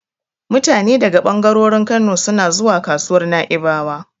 Mutane daga ɓangarorin Kano suna suna zuwa kasuwar Na'ibawa.